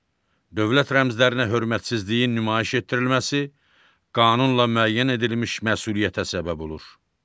Dövlət rəmzlərinə hörmətsizliyin nümayiş etdirilməsi qanunla müəyyən edilmiş məsuliyyətə səbəb olur.